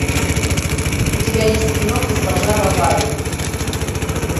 у тебя есть кино госпожа бовари